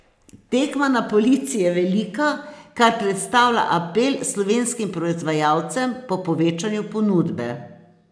Tekma na polici je velika, kar predstavlja apel slovenskim proizvajalcem po povečanju ponudbe.